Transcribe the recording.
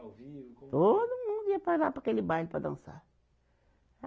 Ao vivo, como era. Todo mundo ia para lá, para aquele baile para dançar.